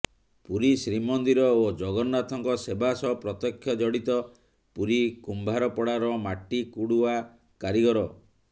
ପୁରୀ ଶ୍ରୀମନ୍ଦିର ଓ ଜଗନ୍ନାଥଙ୍କ ସେବା ସହ ପ୍ରତ୍ୟକ୍ଷ ଜଡ଼ିତ ପୁରୀ କୁମ୍ଭାରପଡ଼ାର ମାଟି କୁଡ଼ୁଆ କାରିଗର